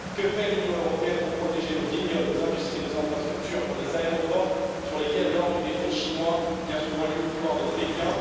Que fait l'Union européenne pour protéger nos vignobles, nos industries, nos infrastructures, comme les aéroports, sur lesquels lorgnent des fonds chinois bien souvent liés au pouvoir de Pékin?